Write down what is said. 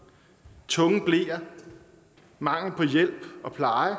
tunge bleer mangel på hjælp og pleje